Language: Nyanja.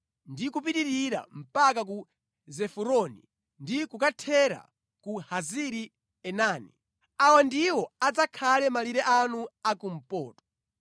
ndi kupitirira mpaka ku Ziforoni ndi kukathera ku Hazari-Enani. Awa ndiwo adzakhale malire anu a kumpoto.